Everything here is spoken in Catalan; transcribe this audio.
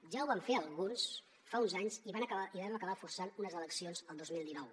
ja ho van fer alguns fa uns anys i vam acabar forçant unes eleccions el dos mil dinou